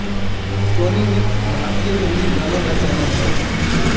Soni mix भारतीय हिन्दी गानों का चैनल है